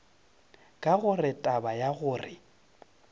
ke gore taba ya gore